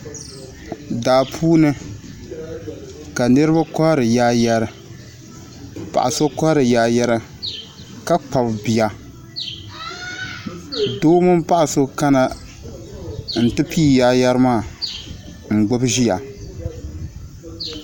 Daa puuni ka niriba kɔhiri yaayɛri paɣa so kɔhiri yaayɛri ka Kpabi bia doo mini paɣa so kana n ti pii yaayɛri maa n gbubi ziya.